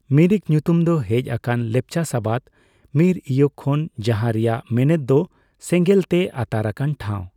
ᱢᱤᱨᱤᱠ ᱧᱩᱛᱩᱢ ᱫᱚ ᱦᱮᱡ ᱟᱠᱟᱱᱟ ᱞᱮᱯᱪᱟ ᱥᱟᱵᱟᱫ ᱢᱤᱨᱼᱤᱭᱚᱠ ᱠᱷᱚᱱ ᱡᱟᱦᱟᱸ ᱨᱮᱭᱟᱜ ᱢᱮᱮᱫ ᱫᱚ ᱥᱮᱸᱜᱮᱞ ᱛᱮ ᱟᱛᱟᱨ ᱟᱠᱟᱱ ᱴᱷᱟᱣ ᱾